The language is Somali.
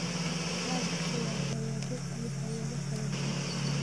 waxaa bixiya hay'ado iyo hay'ado kala duwan.